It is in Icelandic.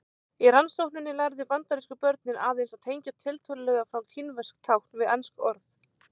Í rannsókninni lærðu bandarísku börnin aðeins að tengja tiltölulega fá kínversk tákn við ensk orð.